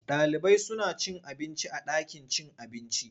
Ɗalibai suna cin abinci a ɗakin cin abinci.